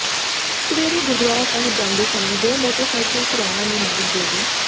ਸਵੇਰੇ ਗੁਰਦੁਆਰਾ ਸਾਹਿਬ ਜਾਂਦੇ ਸਮੇਂ ਦੋ ਮੋਟਰਸਾਈਕਲ ਸਵਾਰਾਂ ਨੇ ਮਾਰੀ ਗੋਲੀ